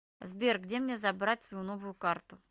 сбер где мне забрать свою новую карту